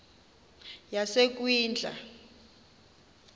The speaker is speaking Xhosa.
yasekwindla